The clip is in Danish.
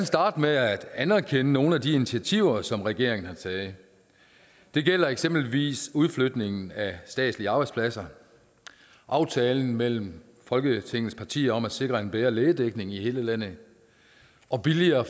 starte med at anerkende nogle af de initiativer som regeringen har taget det gælder eksempelvis udflytningen af statslige arbejdspladser aftalen mellem folketingets partier om at sikre en bedre lægedækning i hele landet og billigere